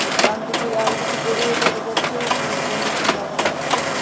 ডানদিকেই আরও কিছু গরুও দেখা যাচ্ছে উপরে পলিথিন লাগানো আছে।